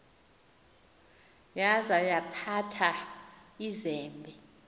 yaza yaphatha izembe